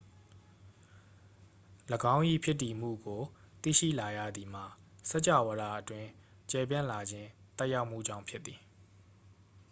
၎င်း၏ ဖြစ်တည်မှုကို သိရှိလာရသည်မှာ စကြာဝဠာအတွင်း ကျယ်ပြန့်လာခြင်း သက်ရောက်မှုကြောင့် ဖြစ်သည်